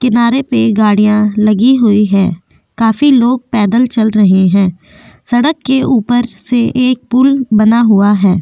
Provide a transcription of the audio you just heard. किनारे पर गाड़ियां लगी हुई है काफी लोग पैदल चल रहे हैं सड़क के ऊपर से एक पुल बना हुआ है।